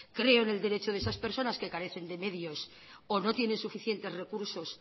creo en el derecho de esas personas que carecen de medios o no tienen suficientes recursos